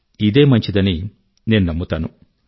ఇదే మంచిదని నేను నమ్ముతాను